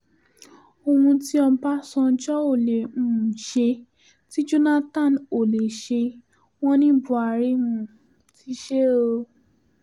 ohun tí ọbànjọ́ ò lè um ṣe tí jonathan ò lè ṣe wọ́n ní buhari um ti ṣe é o